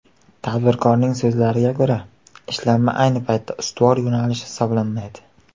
Tadbirkorning so‘zlariga ko‘ra, ishlanma ayni paytda ustuvor yo‘nalish hisoblanmaydi.